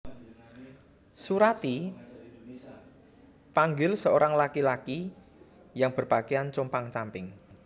Surati panggil seorang laki laki yang berpakaian compang camping